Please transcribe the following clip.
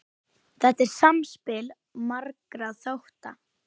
Þetta er samspil margra þátta.